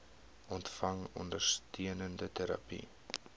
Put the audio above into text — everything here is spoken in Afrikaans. ontvang ondersteunende terapie